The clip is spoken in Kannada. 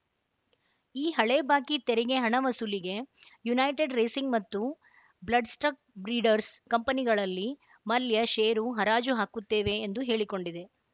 ಈ ಹಳೆ ಬಾಕಿ ತೆರಿಗೆ ಹಣ ವಸೂಲಿಗೆ ಯುನೈಟೆಡ್‌ ರೇಸಿಂಗ್‌ ಮತ್ತು ಬ್ಲಡ್‌ಸ್ಟಕ್‌ ಬ್ರೀಡರ್ಸ್‌ ಕಂಪನಿಗಳಲ್ಲಿ ಮಲ್ಯ ಷೇರು ಹರಾಜು ಹಾಕುತ್ತೇವೆ ಎಂದು ಹೇಳಿಕೊಂಡಿದೆ